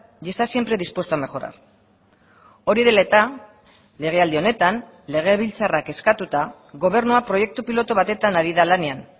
y está siempre dispuesto a mejorar hori dela eta legealdi honetan legebiltzarrak eskatuta gobernua proiektu pilotu batetan ari da lanean